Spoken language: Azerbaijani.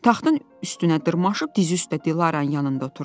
Taxtın üstünə dırmaşıb dizi üstə Dilaranın yanında oturdu.